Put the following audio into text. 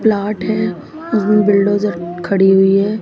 Plot है bulldozer खड़ी हुई है।